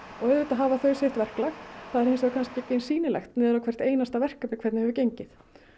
auðvitað hafa þau sitt verklag það er hins vegar ekki eins sýnilegt niður á hvert einasta verkefni hvernig hefur gengið